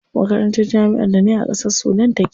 Makarantar jami'ar da nayi a ƙasar Sudan take.